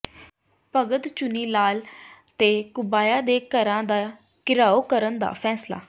ਭਗਤ ਚੂਨੀ ਲਾਲ ਤੇ ਘੁਬਾਇਆ ਦੇ ਘਰਾਂ ਦਾ ਘਿਰਾਓ ਕਰਨ ਦਾ ਫੈਸਲਾ